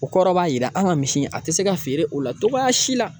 O kɔrɔ b'a jira an ka misi in, a tɛ se ka feere o la cogoya si la.